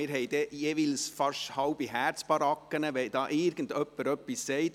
Wir haben jeweils fast einen halben Herzinfarkt, wenn irgendjemand etwas sagt.